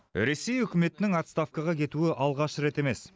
ресей үкіметінің отставкаға кетуі алғаш рет емес